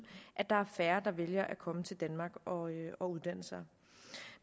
at der er færre der vælger at komme til danmark og uddanne sig